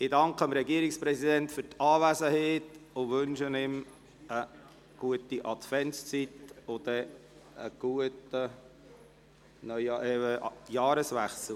Ich danke dem Regierungspräsidenten für die Anwesenheit und wünsche ihm eine gute Adventszeit und einen guten Jahreswechsel.